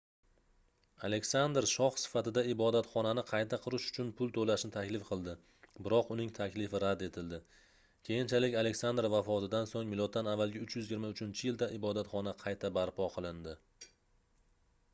aleksandr shoh sifatida ibodatxonani qayta qurish uchun pul to'lashni taklif qildi biroq uning taklifi rad etildi. keyinchalik aleksandr vafotidan so'ng m.a.323-yilda ibodatxona qayta barpo qilindi